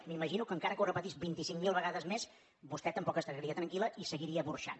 m’imagino que encara que ho repetís vint i cinc mil vegades més vostè tampoc no estaria tranquil·la i seguiria burxant